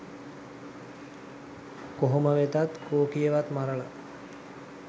කොහොම වෙතත් කෝකියවත් මරල